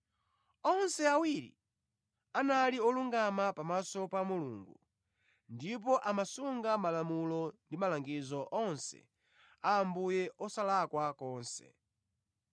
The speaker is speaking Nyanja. Onse awiri anali olungama pamaso pa Mulungu, ndipo amasunga malamulo ndi malangizo onse a Ambuye osalakwa konse.